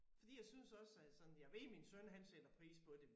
Fordi jeg synes også at sådan jeg ved min søn han sætter pris på det